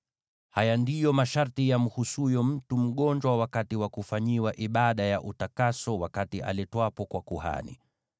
“Haya ndiyo masharti yamhusuyo mtu mgonjwa wakati wa kufanyiwa ibada ya utakaso wakati aletwapo kwa kuhani: